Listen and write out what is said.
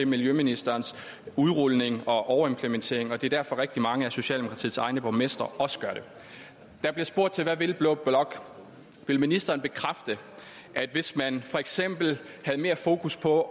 miljøministerens udrulning og overimplementering og det er derfor at rigtig mange af socialdemokratiets egne borgmestre også gør det der bliver spurgt hvad vil blå blok vil ministeren bekræfte at hvis man for eksempel havde mere fokus på